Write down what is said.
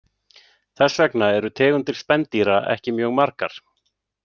Þess vegna eru tegundir spendýra ekki mjög margar.